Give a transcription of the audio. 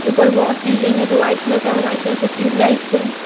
ऊपर वो सीलिंग है जो व्हाइट कलर का है व्हाइट कलर का ट्यूबलाइट्स हैं।